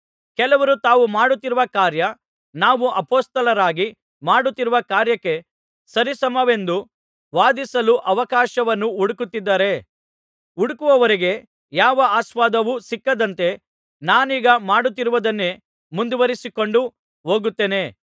ಕೆಲವರು ತಾವು ಮಾಡುತ್ತಿರುವ ಕಾರ್ಯ ನಾವು ಅಪೊಸ್ತಲರಾಗಿ ಮಾಡುತ್ತಿರುವ ಕಾರ್ಯಕ್ಕೆ ಸರಿಸಮವೆಂದು ವಾದಿಸಲು ಅವಕಾಶವನ್ನು ಹುಡುಕುತ್ತಿದ್ದಾರೆ ಹುಡುಕುವವರಿಗೆ ಯಾವ ಆಸ್ಪದವೂ ಸಿಕ್ಕದಂತೆ ನಾನೀಗ ಮಾಡುತ್ತಿರುವುದನ್ನೇ ಮುಂದುವರಿಸಿಕೊಂಡು ಹೋಗುತ್ತೇನೆ